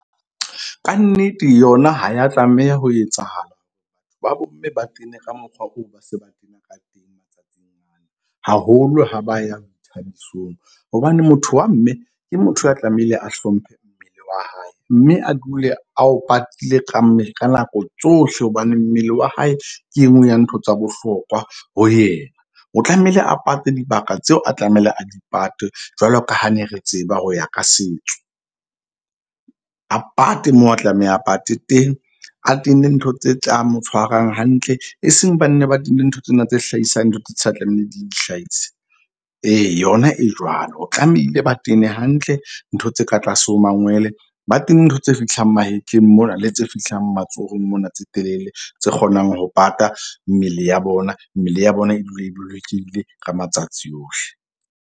Ka nnete yona ha ya tlameha ho etsahala. Ba bo mme ba tene haholo ha ba ya boithabisong. Hobane motho wa mme ke motho a tlamehile a hlomphe mmele wa hae, mme a dule a o patile ka ka nako tsohle. Hobane mmele wa hae ke enngwe ya ntho tsa bohlokwa ho yena. O tlamehile a pate dibaka tseo, a tlamehile a di pate. Jwalo ka ha ne re tseba ho ya ka setso a pate moo a tlameha a pate teng, a tenne ntho tse tlang mo tshwarang hantle, e seng ba nne ba tene ntho tsena tse hlahisang ditho tsa tlamehile di hlahise. Ee yona e jwalo. O tlamehile ba tene hantle ntho tse ka tlase ho mangwele ba tene ntho tse fihlang mahetleng mona le tse fihlang matsohong mona tse telele tse kgonang ho pata mmele ya bona, mmele ya bona e dule e bolokehile ka matsatsi ohle.